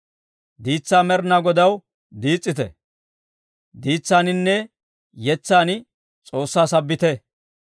Diitsaa Med'inaa Godaw diis's'ite; diitsaaninne yetsan S'oossaa sabbite.